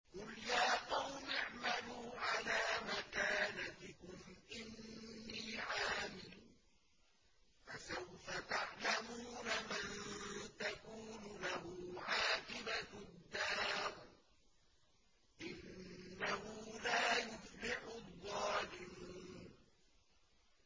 قُلْ يَا قَوْمِ اعْمَلُوا عَلَىٰ مَكَانَتِكُمْ إِنِّي عَامِلٌ ۖ فَسَوْفَ تَعْلَمُونَ مَن تَكُونُ لَهُ عَاقِبَةُ الدَّارِ ۗ إِنَّهُ لَا يُفْلِحُ الظَّالِمُونَ